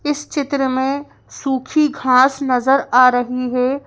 इस चित्र में सूखी घास नजर आ रही है।